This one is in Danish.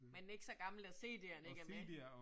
Men ikke så gammel, at CD'erne ikke er med